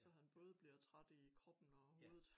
Så han både bliver træt i kroppen og hovedet